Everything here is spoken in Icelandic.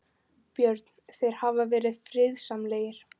Björn: Þeir hafa verið friðsamlegir?